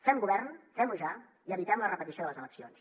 fem govern fem ho ja i evitem la repetició de les eleccions